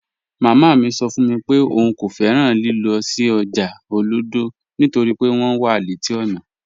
Màmá mi sọ́ fún mi pé ọ̀un kò fẹ́ràn lílọ̀ sí ọ́jà Olodo nítorí pé wọn wà leti ọ́nà